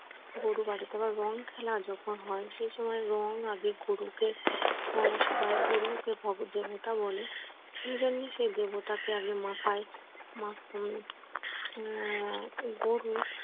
গরু রং খেলা যখন হয় সে সময় রং আবির আগে গরুকে আহ সবাই গরুকে দেবতা বলে সেই দেবতাকে আগে মাথায় মাখ উম আহ গরুর